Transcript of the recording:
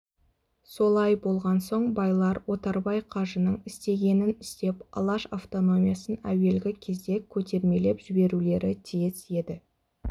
солай болған соң байлар отарбай қажының істегенін істеп алаш автономиясын әуелгі кезде көтермелеп жіберулері тиіс еді